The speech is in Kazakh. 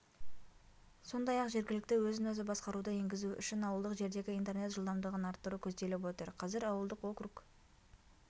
сондай-ақ жергілікті өзін-өзі басқаруды енгізу үшін ауылдық жердегі интернет жылдамдығын арттыру көзделіп отыр қазір ауылдық округ